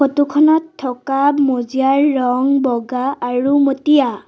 Photo খনত থকা মজিয়াৰ ৰং বগা আৰু মটীয়া।